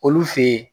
Olu fe ye